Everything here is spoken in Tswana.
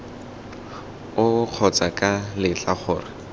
oo kgotsa ca letla gore